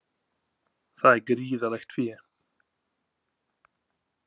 Það er gríðarlegt fé